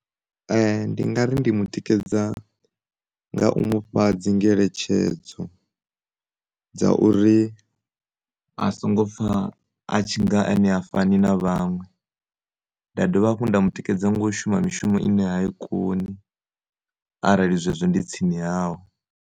Ndi ngari ndi mu tikedza nga u mu fha dzingeletshedzo dza uri a songo pfha a tshinga ene ha fani na vhaṅwe, nda dovha nda mu tikedza nga u shuma mishumo ine ha i koni arali zwezwi ndi tsini hawe.